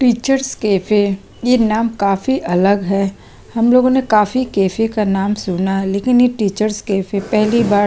teachers cafe ये नाम काफी अलग है हमलोगो ने काफी कैफ़े का नाम सुना है लेकिन ये टीचर्स कैफ़े पहली बार--